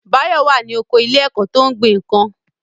Báyọ̀ wà ní oko ilé ẹ̀kọ́ tó ń gbin nǹkan